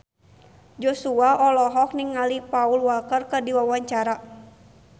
Joshua olohok ningali Paul Walker keur diwawancara